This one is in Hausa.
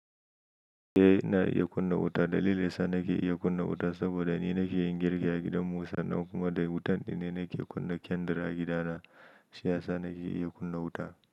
Eh na iya kunna wuta. Dalilin sa nake iya kunna wuta saboda ni nake yin girki a gidan Musa ɗan kuma da wutan dinne nake kunna kandir a gida na. Shi yasa nake iya kunna wuta.